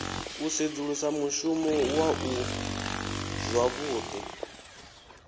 u sedzulusa mushumo waṋu zwavhuḓi